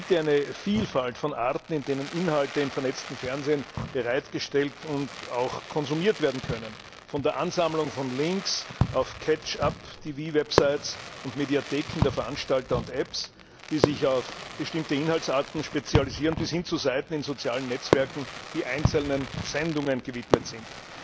Es gibt eine Vielfalt von Arten, in denen Inhalte im vernetzten Fernsehen bereitgestellt und auch konsumiert werden können, von der Ansammlung von Links auf catch up TV websites und Mediatheken der Veranstalter und Apps, die sich auf bestimmte Inhaltsarten spezialisieren, bis hin zu Seiten in sozialen Netzwerken, die einzelnen Sendungen gewidmet sind.